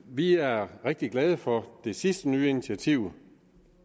vi er rigtig glade for det sidste nye initiativ